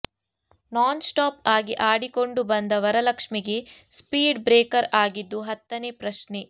ನಾನ್ stop ಆಗಿ ಆಡಿಕೊಂಡು ಬಂದ ವರಲಕ್ಷ್ಮಿಗೆ ಸ್ಪೀಡ್ ಬ್ರೇಕರ್ ಆಗಿದ್ದು ಹತ್ತನೇ ಪ್ರಶ್ನೆ